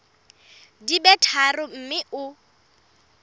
di be tharo mme o